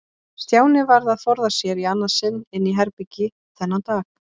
Stjáni varð að forða sér í annað sinn inn í herbergi þennan dag.